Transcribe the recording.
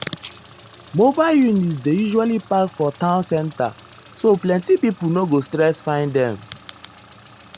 mobile units dey usually park for town center so plenty people no go stress find um them.